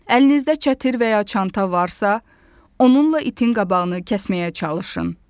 Əlinizdə çətir və ya çanta varsa, onunla itin qabağını kəsməyə çalışın.